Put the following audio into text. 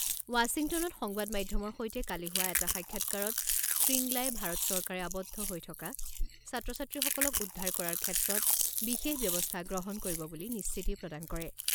ৱাশ্বিংটনত সংবাদ মাধ্যমৰ সৈতে কালি হোৱা এটা সাক্ষাৎকাৰত শ্ৰীংলাই ভাৰত চৰকাৰে আবদ্ধ হৈ থকা ছাত্ৰ ছাত্ৰীসকলক উদ্ধাৰ কৰাৰ ক্ষেত্ৰত বিশেষ ব্যৱস্থা গ্ৰহণ কৰিব বুলি নিশ্চিতি প্ৰদান কৰে।